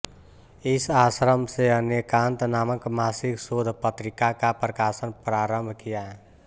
इस आश्रम से अनेकान्त नामक मासिक शोध पत्रिका का प्रकाशन प्रारम्भ किया